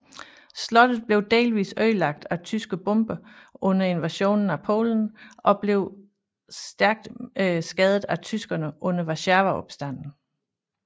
Slottet blev delvis ødelagt af tyske bomber under invasionen af Polen og blev stærkt skadet af tyskerne under Warszawaopstanden